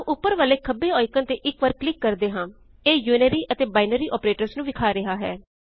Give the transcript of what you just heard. ਆਓ ਉਪਰ ਵਾਲੇ ਖੱਬੇ ਆਇਕਨ ਤੇ ਇਕ ਵਾਰੀ ਕਲਿਕ ਕਰਦੇ ਹਾਂ ਇਹ ਯੂਨਰੀ ਅਤੇ ਬਿਨੈਰ ਆਪਰੇਟਰ੍ਸ ਨੂੰ ਵਿਖਾ ਰਿਹਾ ਹੈ